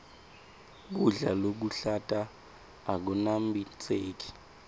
kudla lokuhlata akunambitseki